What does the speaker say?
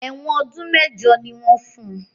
Èwọ̀n ọdún mẹ́jọ ni wọ́n fun